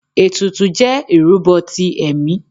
Ètùtù jẹ irúbo tí emí